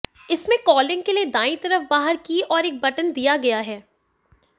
इसमें कॉलिंग के लिए दायीं तरफ बाहर की ओर एक बटन दिया गया है